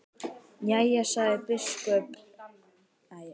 Jæja, sagði biskup með hægð.